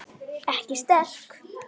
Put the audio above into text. Ekki sterk.